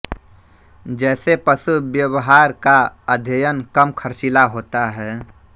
जैसे पशु व्यवहार का अध्ययन कम खर्चीला होता है